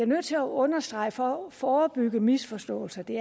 nødt til at understrege for at forebygge misforståelser at det